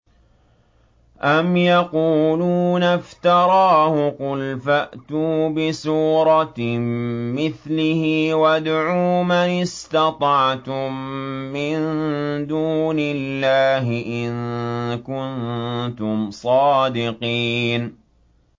أَمْ يَقُولُونَ افْتَرَاهُ ۖ قُلْ فَأْتُوا بِسُورَةٍ مِّثْلِهِ وَادْعُوا مَنِ اسْتَطَعْتُم مِّن دُونِ اللَّهِ إِن كُنتُمْ صَادِقِينَ